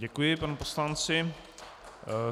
Děkuji panu poslanci.